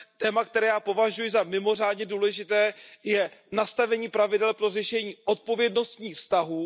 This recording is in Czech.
Téma, které já považuji za mimořádně důležité, je nastavení pravidel pro řešení odpovědnostních vztahů.